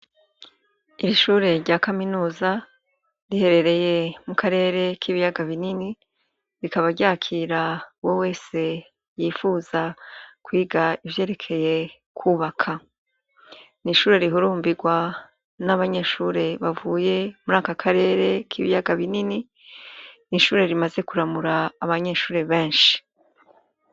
Ishure rya kaminuza riherereye mukarere k'ibiyaga binini rikaba ryakira uwowese yipfuza kwiga ivyerekeye kwubaka. N'ishure rihurumbirwa n'abanyeshure bavuye muraka karere kibiyaga binini. N'ishure rimaze kuramura abanyeshure beshi.